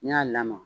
N'i y'a lamaga